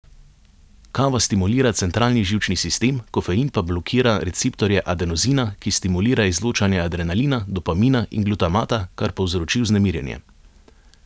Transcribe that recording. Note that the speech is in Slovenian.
Kava stimulira centralni živčni sistem, kofein pa blokira receptorje adenozina, ki stimulira izločanje adrenalina, dopamina in glutamata, kar povzroči vznemirjenje.